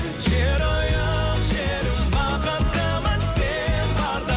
жерұйық жерім бақыттымын сен барда